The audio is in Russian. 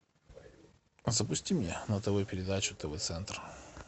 запусти мне на тв передачу тв центр